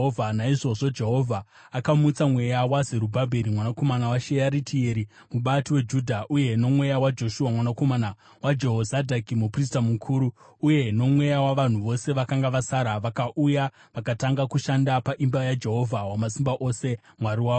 Naizvozvo Jehovha akamutsa mweya waZerubhabheri mwanakomana waShearitieri, mubati weJudha, uye nomweya waJoshua mwanakomana waJehozadhaki, muprista mukuru, uye nomweya wavanhu vose vakanga vasara. Vakauya vakatanga kushanda paimba yaJehovha Wamasimba Ose, Mwari wavo,